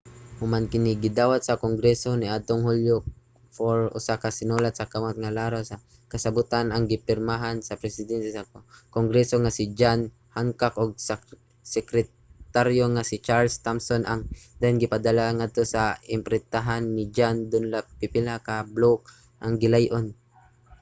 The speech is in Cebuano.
human kini gidawat sa kongreso niadtong hulyo 4 usa ka sinulat sa kamot nga laraw sa kasabotan ang gipirmahan sa presidente sa kongreso nga si john hancock ug sekretaryo nga si charles thomson ang dayon gipadala ngadto sa imprintahanan ni john dunlap pipila ka bloke ang gilay-on